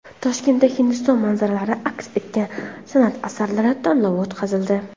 Toshkentda Hindiston manzaralari aks etgan san’at asarlari tanlovi o‘tkazildi.